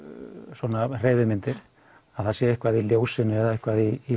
svona hreyfimyndir það sé eitthvað í ljósinu eða eitthvað í